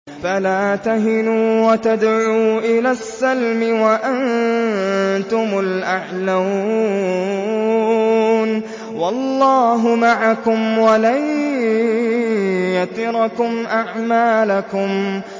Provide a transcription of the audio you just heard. فَلَا تَهِنُوا وَتَدْعُوا إِلَى السَّلْمِ وَأَنتُمُ الْأَعْلَوْنَ وَاللَّهُ مَعَكُمْ وَلَن يَتِرَكُمْ أَعْمَالَكُمْ